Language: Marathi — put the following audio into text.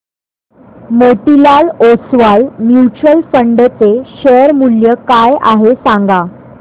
मोतीलाल ओस्वाल म्यूचुअल फंड चे शेअर मूल्य काय आहे सांगा